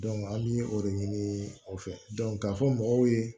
an bɛ o de ɲini o fɛ k'a fɔ mɔgɔw ye